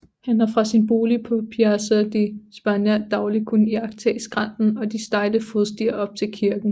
Han havde fra sin bolig på Piazza di Spagna dagligt kunnet iagttage skrænten og de stejle fodstier op til kirken